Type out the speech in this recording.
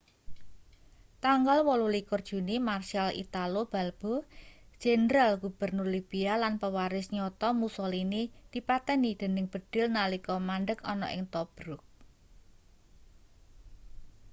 tanggal 28 juni marshal italo balbo jendral-gubernur libia lan pewaris nyata mussolini dipateni dening bedhil nalika mandheg ana ing tobruk